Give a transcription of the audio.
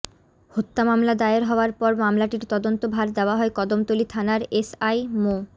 হত্যা মামলা দায়ের হওয়ার পর মামলাটির তদন্ত ভার দেয়া হয় কদমতলী থানার এসআই মো